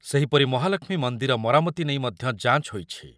ସେହିପରି ମହାଲକ୍ଷ୍ମୀ ମନ୍ଦିର ମରାମତି ନେଇ ମଧ୍ୟ ଯାଞ୍ଚ ହୋଇଛି।